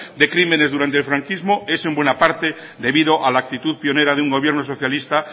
de crímenes durante el franquismo es en buena parte debido a la actitud pionera de un gobierno socialista